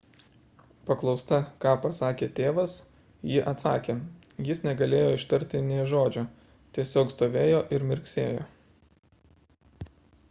paklausta ką pasakė tėvas ji atsakė jis negalėjo ištarti nė žodžio – tiesiog stovėjo ir mirksėjo